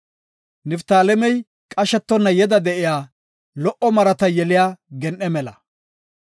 “Niftaalemey qashetonna yeda de7iya, lo77o marata yeliya gen7e mela.